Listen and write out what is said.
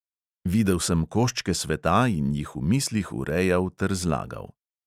Videl sem koščke sveta in jih v mislih urejal ter zlagal …